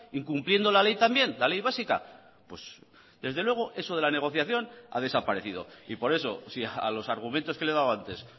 incumpliendo la ley también la ley básica desde luego eso de la negociación ha desaparecido y por eso si a los argumentos que le he dado antes